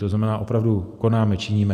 To znamená, opravdu konáme, činíme.